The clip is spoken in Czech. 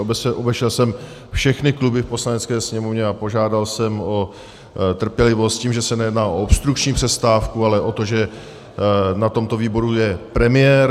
Obešel jsem všechny kluby v Poslanecké sněmovně a požádal jsem o trpělivost, s tím, že se nejedná o obstrukční přestávku, ale o to, že na tomto výboru je premiér.